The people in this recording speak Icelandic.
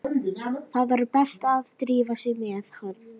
Það var best að drífa sig með hann.